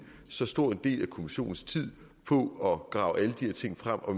så stor en del af kommissionens tid på at grave alle de her ting frem og